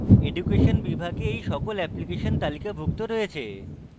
education বিভাগে এই সকল অ্যাপ্লিকেশন তালিকাভুক্ত রয়েছে